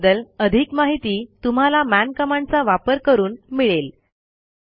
याबद्दल अधिक माहिती तुम्हाला मन कमांडचा वापर करून मिळेल